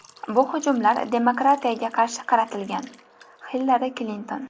Bu hujumlar demokratiyaga qarshi qaratilgan”, – Hillari Klinton.